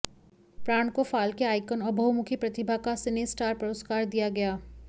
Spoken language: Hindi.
प्राण को फाल्के आइकॅन और बहुमुखी प्रतिभा का सिनेस्टार पुरस्कार दिया गया